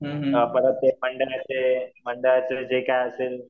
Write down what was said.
मंडळाचे जे काही असेल